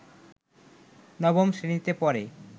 নবম শ্রেণিতে পড়ে